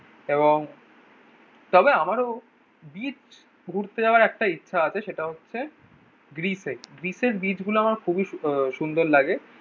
এবং তবে আমারও বিচ ঘুরতে যাওয়ার একটা ইচ্ছা আছে সেটা হচ্ছে গ্রিসে। গ্রিসের বিচ গুলো আমার খুবই আহ সুন্দর লাগে।